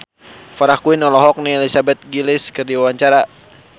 Farah Quinn olohok ningali Elizabeth Gillies keur diwawancara